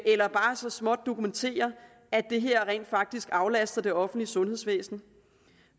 eller bare så småt dokumentere at det her rent faktisk aflaster det offentlige sundhedsvæsen